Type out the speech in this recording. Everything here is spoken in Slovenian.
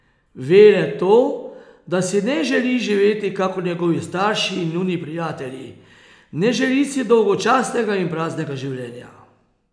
Ve le to, da si ne želi živeti kakor njegovi starši in njuni prijatelji, ne želi si dolgočasnega in praznega življenja.